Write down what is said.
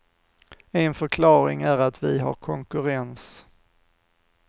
En förklaring är att vi har konkurrens.